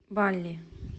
балли